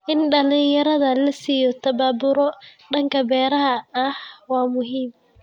In dhalinyarada la siiyo tababaro dhanka beeraha ah waa muhiim.